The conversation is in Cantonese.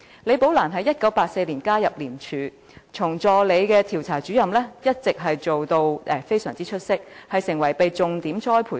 李寶蘭在1984年加入廉署，由助理調查主任做起，工作表現一直非常出色，並成為重點栽培人員。